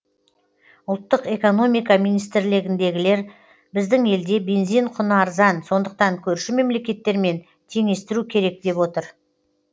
ұлттық экономика министрлігіндегілер біздің елде бензин құны арзан сондықтан көрші мемлекеттермен теңестіру керек деп отыр